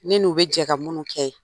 Ne n'u be jɛ ka minnu kɛ.